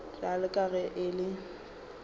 bjalo ka ge e le